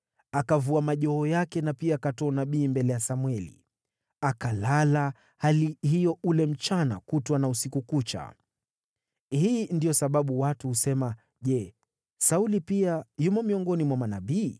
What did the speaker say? Akavua majoho yake na pia akatoa unabii mbele ya Samweli. Akalala hali hiyo ule mchana kutwa na usiku kucha. Hii ndiyo sababu watu husema, “Je, Sauli pia yumo miongoni mwa manabii?”